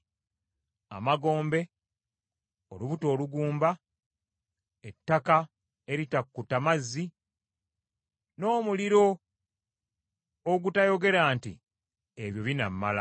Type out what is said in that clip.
Amagombe, olubuto olugumba, ettaka eritakutta mazzi, n’omuliro ogutayogera nti, “Ebyo binaamala!”